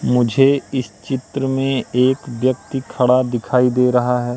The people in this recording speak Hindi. मुझे इस चित्र में एक व्यक्ति खड़ा दिखाई दे रहा हैं।